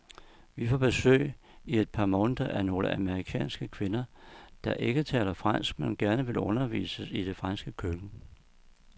Vi får besøg i et par måneder af nogle amerikanske kvinder, der ikke taler fransk, men gerne vil undervises i det franske køkken.